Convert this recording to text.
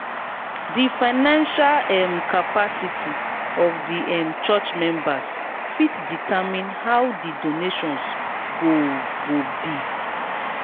di financial um capacity of di um church members fit determine how di donations go go be